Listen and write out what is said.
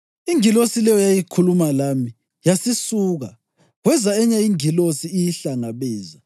Ingilosi leyo eyayikhuluma lami yasisuka, kweza enye ingilosi iyihlangabeza